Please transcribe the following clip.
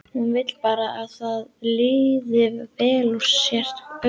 Hún vill bara að þér líði vel og sért örugg.